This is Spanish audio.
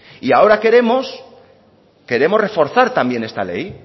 y ahora queremos queremos reforzar también esta ley